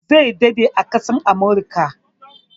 Zai daɗe a ƙasar Amurika.